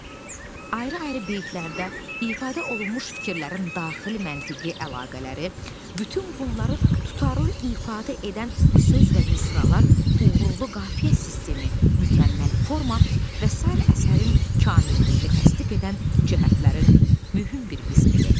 Ayrı-ayrı beytlərdə ifadə olunmuş fikirlərin daxili məntiqi əlaqələri, bütün bunları tutarlı ifadə edən söz və misralar, uğurlu qafiyə sistemi, mükəmməl forma və sair əsərin kamilliyini təsdiq edən cəhətlərin mühüm bir qismidir.